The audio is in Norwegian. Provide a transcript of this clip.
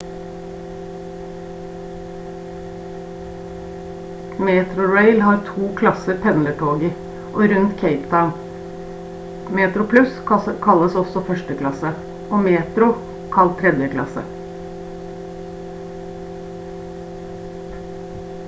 metrorail har to klasser pendlertog i og rundt cape town: metroplus kalles også førsteklasse og metro kalt tredjeklasse